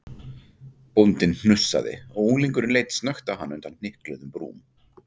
Bóndinn hnussaði og unglingurinn leit snöggt á hann undan hnykluðum brúm.